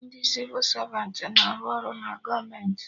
Ndị Sịvụ Savantị na-arụ ọrụ na gọọmenti